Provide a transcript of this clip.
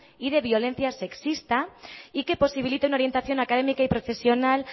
y de violencia sexista y que posibilite una orientación académica y profesional